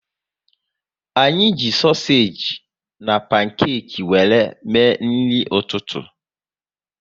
Anyị ji sosage na pankeki wéré mee nri ụtụtụ